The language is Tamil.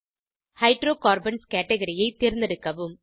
ஹைட்ரோகார்பன்ஸ் கேட்கரி ஐ தேர்ந்தெடுக்கவும்